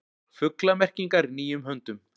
Fuglamerkingar í nýjum höndum